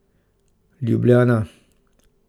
Ljubljana.